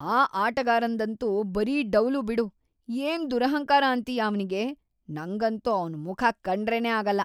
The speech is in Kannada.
ಆ ಆಟಗಾರಂದಂತೂ ಬರೀ ಡೌಲು ಬಿಡು, ಏನ್‌ ದುರಹಂಕಾರ ಅಂತೀಯ ಅವ್ನಿಗೆ! ನಂಗಂತೂ ಅವ್ನ್‌ ಮುಖ ಕಂಡ್ರೇನೇ ಆಗಲ್ಲ.